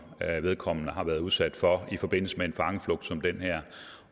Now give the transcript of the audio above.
vedkommende har været udsat for i forbindelse med en fangeflugt som den her